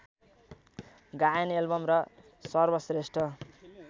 गायन एल्बम र सर्वश्रेष्ठ